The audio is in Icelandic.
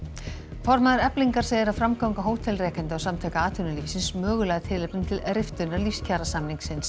formaður Eflingar segir að framganga hótelrekanda og Samtaka atvinnulífsins mögulega tilefni til riftunar